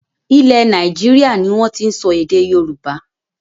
Ilẹ̀ Nàìjíríà ni wọn tin sọ èdè Yorùbá